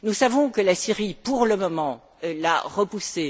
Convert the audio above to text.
Nous savons que la Syrie, pour le moment, l'a repoussé.